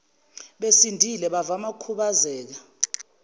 besindile bavama ukukhubazeka